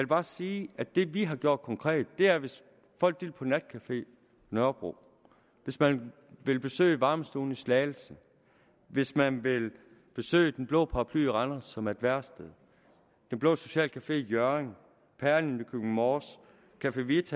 bare sige at det vi har gjort konkret er hvis folk vil på natcafé nørrebro hvis man vil besøge varmestuen i slagelse hvis man vil besøge den blå paraply i randers som er et værested den blå socialcafé i hjørring perlen i nykøbing mors café vita